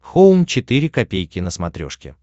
хоум четыре ка на смотрешке